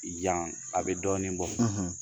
Yan a bɛ dɔɔnin bɔ